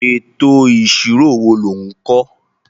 Ètò ìṣirò wo lò ń kọ́.?